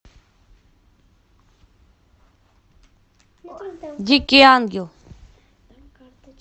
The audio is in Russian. дикий ангел